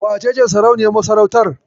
Wacece sarauniyar masarautar?